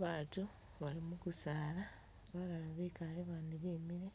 Batu bali mugusaala, balala bekale bandi bemile,